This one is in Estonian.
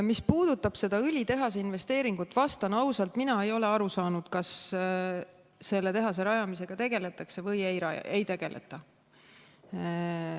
Mis puudutab seda õlitehase investeeringut, siis vastan ausalt: mina ei ole aru saanud, kas selle tehase rajamisega tegeldakse või ei tegeleta.